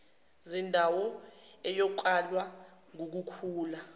zindawo iyokalwa ngukukhula